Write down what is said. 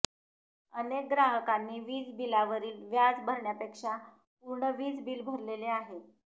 अनेक ग्राहकांनी वीज बिलावरील व्याज भरण्यापेक्षा पूर्ण वीज बिल भरलेले आहे